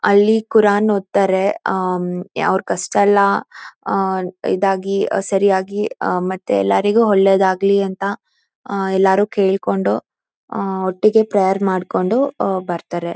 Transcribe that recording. ಅಲ್ಲಿ ಕುರಾನ್ ಓದ್ತಾರೆ ಅ ಅ ಅವರ ಕಷ್ಟಯಲ್ಲ ಅಹ್ ಅಹ್ ಇದಾಗಿ ಸರಿಯಾಗಿ ಮತ್ತೆ ಎಲ್ಲರಿಗೂ ಒಳ್ಳೆಯದಾಗಲಿ ಅಂತ ಎಲ್ಲರೂ ಕೇಳಿಕೊಂಡು ಒಟ್ಟಿಗೆ ಪ್ರೇಯರ್ ಮಾಡ್ಕೊಂಡು ಅಹ್ ಅಹ್ ಬರ್ತಾರೆ